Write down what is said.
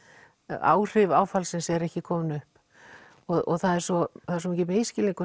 áhrif áfallsins eru ekki komin upp það er svo er svo mikill